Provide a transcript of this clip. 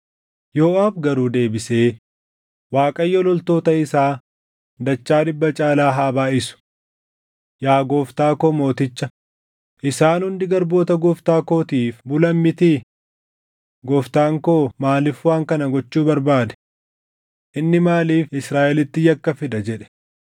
Yooʼaab garuu deebisee, “ Waaqayyo loltoota isaa dachaa dhibba caalaa haa baayʼisu. Yaa gooftaa koo mooticha, isaan hundi garboota gooftaa kootiif bulan mitii? Gooftaan koo maaliif waan kana gochuu barbaade? Inni maaliif Israaʼelitti yakka fida?” jedhe.